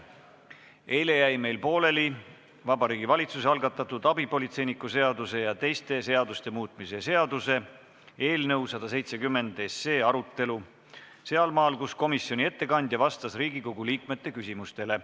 Eile jäi meil pooleli Vabariigi Valitsuse algatatud abipolitseiniku seaduse ja teiste seaduste muutmise seaduse eelnõu 170 arutelu sealmaal, kus komisjoni ettekandja vastas Riigikogu liikmete küsimustele.